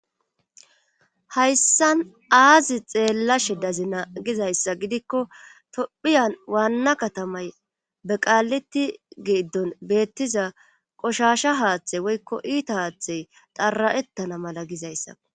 hayssan aazi xeellashe dazi na gizayssa gidikko tophiyan waanna katamay beqaaleti geiddon beettiza qoshasha haaththey woykko iita haaththey xara7ettana mala gizayssa